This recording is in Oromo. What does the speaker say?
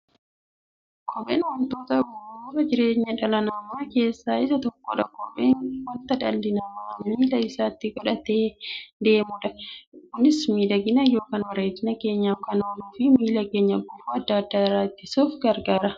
Kopheen wantoota bu'uura jireenya dhala namaa keessaa isa tokkodha. Kopheen wanta dhalli namaa miilla isaatti godhatee deemudha. Kunis miidhagani yookiin bareedina keenyaf kan ooluufi miilla keenya gufuu adda addaa irraa ittisuuf gargaara.